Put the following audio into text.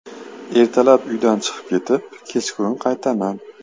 Ertalab uydan chiqib ketib, kechqurun qaytaman.